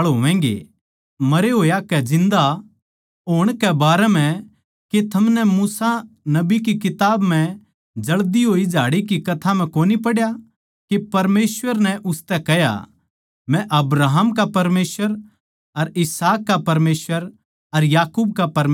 मरे होया कै जिन्दा होण कै बारें म्ह के थमनै मूसा नबी की किताब म्ह जळती होई झाड़ी की कथा म्ह कोनी पढ़या के परमेसवर नै उसतै कह्या मै अब्राहम का परमेसवर अर इसहाक का परमेसवर अर याकूब का परमेसवर सूं